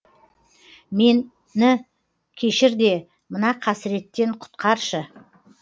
мені кешір де мына қасіреттен құтқаршы